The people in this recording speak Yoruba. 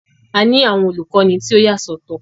A ni awọn olukọni tí o yasọtọ.